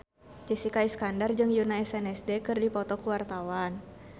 Jessica Iskandar jeung Yoona SNSD keur dipoto ku wartawan